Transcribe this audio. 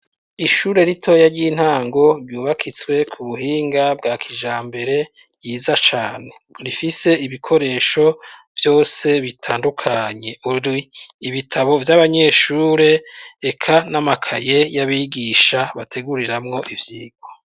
Ishure ritoya ry'intango ryubakishitse kubuhinga bwa kijambere ryiza cane Rifise ibikoresho vyose bitandukanye ibitabo vy'abanyeshure eka nibitabo abanyeshure Eka namakaye yabigisha bateguriramwo ivyigwa.